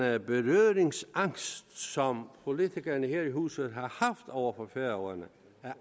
at den berøringsangst som politikere her i huset har haft over for færøerne